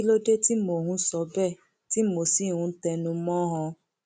kí ló dé tí mò ń sọ bẹẹ tí mo sì ń tẹnu mọ ọn